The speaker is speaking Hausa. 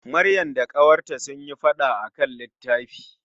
Maryam da ƙawarta sunyi fada akan litafi.